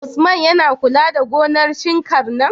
Usman yAna kula da gonar shinkar nan?